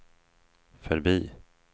förbi